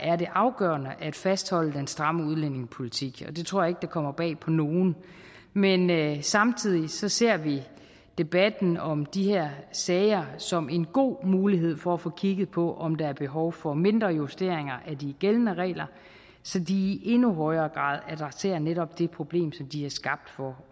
er det afgørende at fastholde den stramme udlændingepolitik det tror jeg kommer bag på nogen men men samtidig ser vi debatten om de her sager som en god mulighed for at få kigget på om der er behov for mindre justeringer af de gældende regler så de i endnu højere grad adresserer netop det problem som de er skabt for